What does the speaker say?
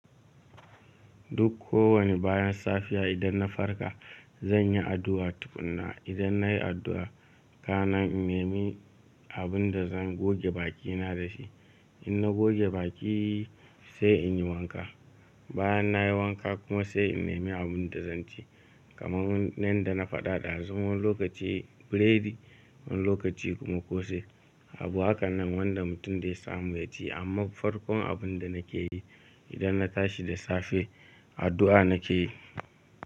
Duk ko wani bayan safiya idan na farka zan yi addu'a tukunna, idan nayi addu'a kana in nemi abun da zan goge bakina da shi. In na goge baki sai in yi wanka, bayan nayi wanka kuma sai in nemi abun da zan ci. Kamar yanda na faɗa ɗazu wani lokaci buredi, wani lokaci kuma kose. Abu hakanan wanda mutum zai samu ya ci amma farkon abun da nake yi idan na tashi da safe addu'a nake yi.